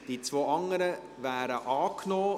Die beiden anderen Ziffern wären angenommen.